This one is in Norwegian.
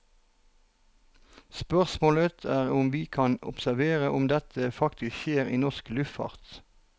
Spørsmålet er om vi kan observere om dette faktisk skjer i norsk luftfart.